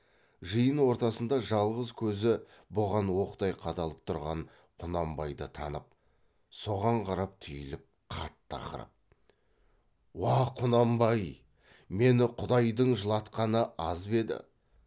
жиын ортасында жалғыз көзі бұған оқтай қадалып тұрған құнанбайды танып соған қарап түйіліп қатты ақырып уа құнанбай мені құдайдың жылатқаны аз ба еді